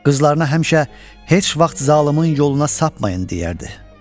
Qızlarına həmişə heç vaxt zalımın yoluna sapmayın deyərdi.